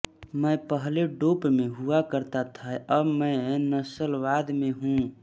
मैं पहले डोप में हुआ करता था अब मैं नस्लवाद में हूं